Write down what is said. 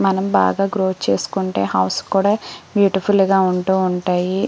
మనం బాగా గ్రోత్ చేసుకుంటే హౌస్ కూడా బ్యూటిఫుల్ గా ఉంటూ ఉంటాయి.